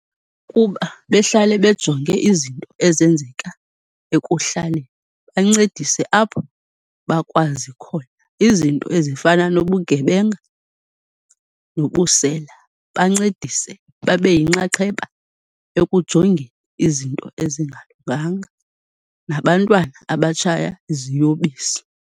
Kuba behlale bejonge izinto ezenzeka ekuhlaleni, bancedise apho bakwazi khona, izinto ezifana nobugebenga nobusela bancedise, babe yinxaxheba ekujongeni izinto ezingalunganga, nabantwana abatshaya iziyobisi.